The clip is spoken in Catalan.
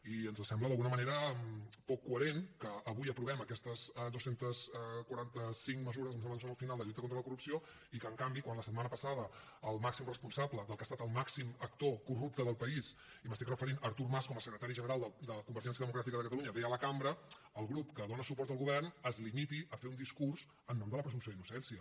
i ens sembla d’alguna manera poc coherent que avui aprovem aquestes dos cents i quaranta cinc mesures em sembla que són al final de lluita contra la corrupció i que en canvi quan la setmana passada el màxim responsable del que ha estat el màxim actor corrupte del país i em refereixo a artur mas com a secretari general de convergència democràtica de catalunya ve a la cambra el grup que dona suport al govern es limiti a fer un discurs en nom de la presumpció d’innocència